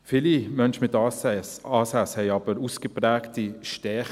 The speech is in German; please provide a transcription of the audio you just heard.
Viele Menschen mit ASS haben aber auch ausgeprägte Stärken.